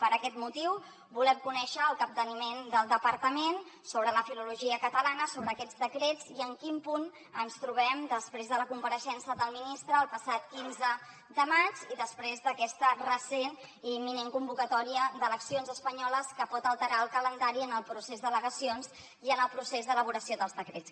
per aquest motiu volem conèixer el capteniment del departament sobre la filologia catalana sobre aquests decrets i en quin punt ens trobem després de la compareixença del ministre el passat quinze de maig i després d’aquesta recent i imminent convocatòria d’eleccions espanyoles que pot alterar el calendari en el procés d’al·legacions i en el procés d’elaboració dels decrets